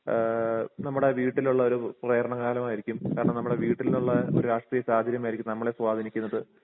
ഏഹ് നമ്മുടെ വീട്ടിലുള്ള ഒരു പ്രേരണ കാരണമായിരിക്കും കാരണം നമ്മുടെ വീട്ടിലുള്ള ഒരു രാഷ്ട്രീയ സാഹചര്യം ആയിരിക്കും നമ്മളെ സ്വാധീനിക്കുന്നത്.